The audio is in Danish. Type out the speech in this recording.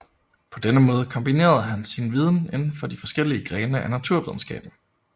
På denne måde kombinerede han sin viden inden for de forskellige grene af naturvidenskaben